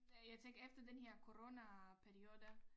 Jeg tænker efter den her corona periode